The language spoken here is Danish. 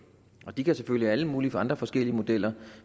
de kan selvfølgelig have alle mulige andre forskellige modeller